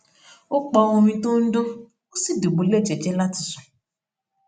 ó pa orin tó ń dún ó sì dùbúlè jẹjẹ láti sùn